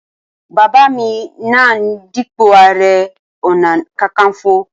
Bàbá mi náà ń dípò ààrẹ ọ̀nà kakaǹfò